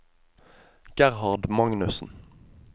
Gerhard Magnussen